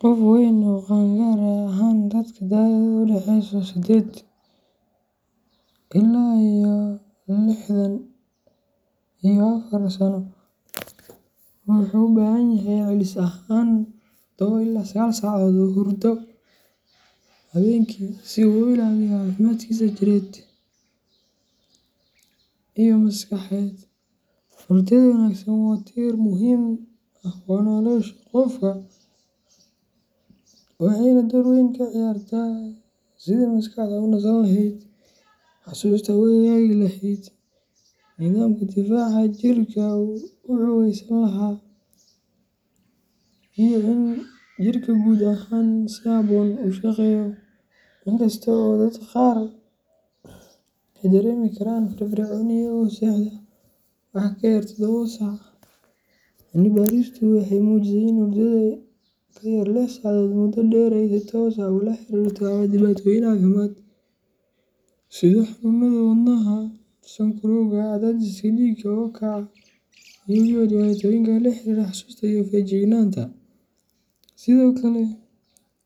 Qof weyn oo qaangaar ah gaar ahaan dadka da’doodu u dhaxayso sided iuo toban ilaa lixdan iyo afar sano wuxuu u baahan yahay celcelis ahaan todoba ila sagal saacadood oo hurdada habeenkii ah si uu u ilaaliyo caafimaadkiisa jireed iyo maskaxeed. Hurdada wanaagsan waa tiir muhiim ah oo nolosha qofka ah, waxayna door weyn ka ciyaartaa sidii maskaxdu u nasan lahayd, xusuusta u hagaagi lahayd, nidaamka difaaca jirka uu u xoogeysan lahaa, iyo in jirka guud ahaan si habboon u shaqeeyo. Inkasta oo dadka qaar ay dareemi karaan firfircooni iyagoo seexda wax ka yar todoba saac, cilmi baaristu waxay muujisay in hurdada ka yar lix saacadood muddo dheer ay si toos ah ula xiriirto dhibaatooyin caafimaad sida xanuunada wadnaha, sonkorowga, cadaadiska dhiigga oo kaco, iyo waliba dhibaatooyin la xiriira xasuusta iyo feejignaanta. Sidoo kale,